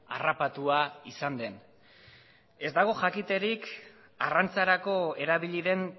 harrapatua izan den ez dago jakiterik arrantzarako erabili den